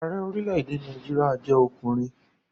Ààrẹ orílẹ̀-èdè Nàìjíríà jẹ́ ọkùnrin